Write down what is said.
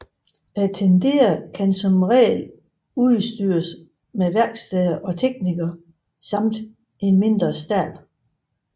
Tendere kan som regel udstyres med værksteder og teknikere samt en mindre stab